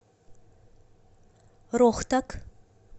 рохтак